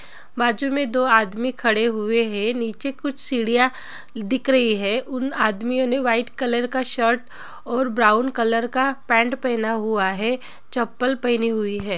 बाजुमे दो आदमी खड़े हुवे है नीचे कुछ सीढ़िया दिख रही है| उन आदमीयो ने व्हाइट कलर का शर्ट और ब्राउन कलर का पैन्ट पेहेना हुवा है| चप्पल पहनी हुई है ।